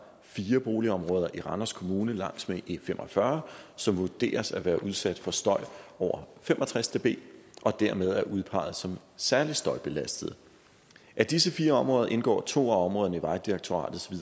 fire boligområder i randers kommune langs med e45 som vurderes at være udsat for støj over fem og tres db og dermed er udpeget som særlig støjbelastede af disse fire områder indgår to af områderne i vejdirektoratets